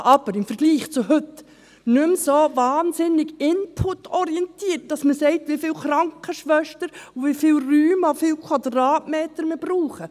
Dies aber im Vergleich zu heute nicht mehr so wahnsinnig inputorientiert, dass man sagt, wie viele Krankenschwestern, wie viele Räume zu wie vielen Quadratmetern wir brauchen.